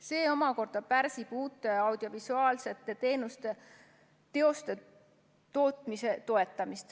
See omakorda pärsib uute audiovisuaalsete teoste tootmise toetamist.